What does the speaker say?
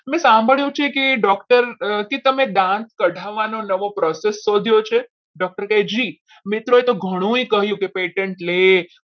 મેં સાંભળ્યું છે કે doctor તમે દાંત કઢાવવાના નવો process શોધ્યો છે doctor કહેજે મિત્રોએ તો ઘણું એ કહ્યું કે patent લે